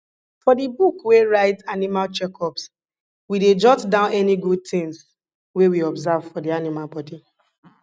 for di book wey write animal checkups we dey jot down any good tins wey we observe for di animal body